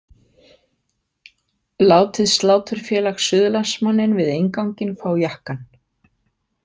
Látið Sláturfélag Suðurlands- manninn við innganginn fá jakkann.